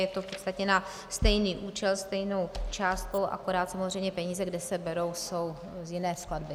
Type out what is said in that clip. Je to v podstatě na stejný účel stejnou částkou, akorát samozřejmě peníze, kde se berou, jsou z jiné skladby.